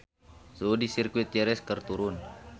Suhu di Sirkuit Jerez keur turun